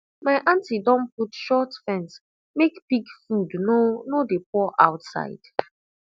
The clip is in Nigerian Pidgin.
my aunty don put short fence make pig food no no dey pour outside